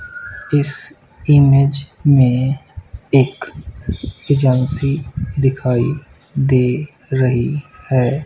इस इमेज में एक एजेंसी दिखाई दे रही है।